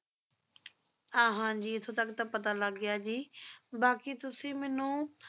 ਹਾਂਜੀ ਇਥੋਂ ਤੱਕ ਪਤਾ ਲੱਗ ਗਿਆ ਜੀ ਬਾਕਿ ਤੁਸੀ ਮੈਨੂੰ